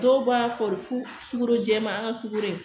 Dɔw b'a fɔ fo sukoro jɛman an ka sukoro